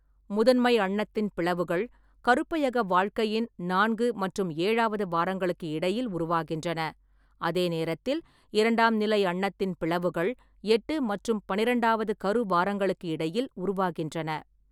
முதன்மை அண்ணத்தின் பிளவுகள் கருப்பையக வாழ்க்கையின் நான்கு மற்றும் ஏழாவது வாரங்களுக்கு இடையில் உருவாகின்றன, அதே நேரத்தில் இரண்டாம் நிலை அண்ணத்தின் பிளவுகள் எட்டு மற்றும் பன்னிரெண்டாவது கரு வாரங்களுக்கு இடையில் உருவாகின்றன.